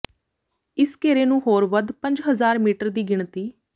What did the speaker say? ਇਸ ਘੇਰੇ ਨੂੰ ਹੋਰ ਵੱਧ ਪੰਜ ਹਜ਼ਾਰ ਮੀਟਰ ਦੀ ਗਿਣਤੀ